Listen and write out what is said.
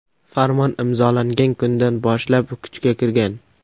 Farmon imzolangan kundan boshlab kuchga kirgan.